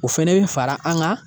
O fɛnɛ bi fara an kan